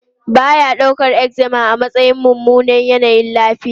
Ba ya daukar eczema a matsayin mummunan yanayin lafiya.